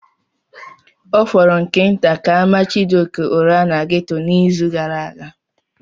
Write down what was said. Ọ fọrọ nke nta ka a mara Chijioke ụra na ghetto n'izu gara aga.